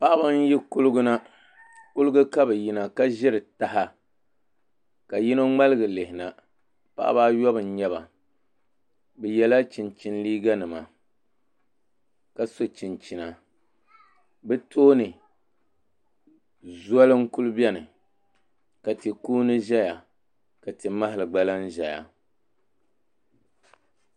paɣiba n-yi kuliɡa na kuliɡa ka bɛ yina ka ʒiri taha ka yino ŋmaliɡi lihi na paɣiba ayɔbu n-nyɛ ba bɛ yɛla chinchini liiɡanima ka so chinchina bɛ tooni zoli n-kuli beni ka ti' kuuni ʒɛya ka ti' mahili ɡba la-n ʒɛya